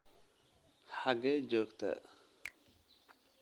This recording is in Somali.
xagee joogtaa